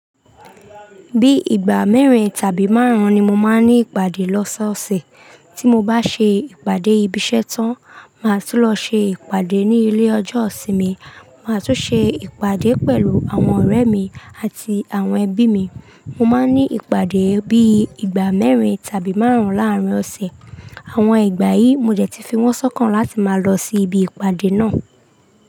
Bí ìgbà mẹ́rin tàbí márùn-ún ni mo máa ń ní ìpàdé lọ́sọ̀ọ̀sẹ̀. Tí mo bá ṣe ìpàdé ibi iṣẹ́ tán, màá tún lọ ṣe ìpàdé ní ilé ọjọ́ isinmi. Màá tún ṣe ìpàdé pẹ̀lú àwọn ọ̀rẹ́ mi àti àwọn ẹbí mi. Mo máa ń ní ìpàdé bí ìgbà mẹ́rin tàbí márùn-ún láàárín ọ̀sẹ̀. Àwọn ìgbà yìí mo dẹ̀ tí fi wọ́n sọ́kàn láti máa lọ sí ibi ìpàdé náà.